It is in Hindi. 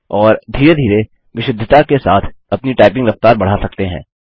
और धीरे धीरे विशुद्धता के साथ अपनी टाइपिंग रफ्तार बढ़ा सकते हैं